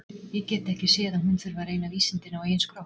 Ég get ekki séð að hún þurfi að reyna vísindin á eigin skrokk.